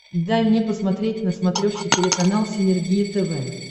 дай мне посмотреть на смотрешке телеканал синергия тв